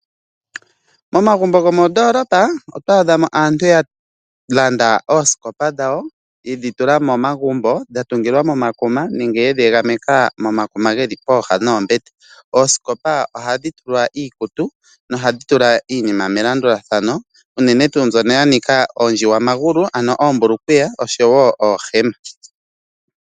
Momagumbo gomoondolopa oto adha mo aantu ya landa oosikopa dhawo yedhi tula momagumbo dha tungilwa momakuma nenge ye dhi egameka momakuma ge li pooha noombete. Oosikopa ohadhi tulwa iikutu nohadhi tula iinima melandulathano uunene tu mbyoka ya nika ondjiwamagulu ano ombulukweya oshowo oohema.